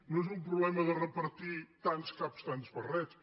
no és un problema de repartir tants caps tants barrets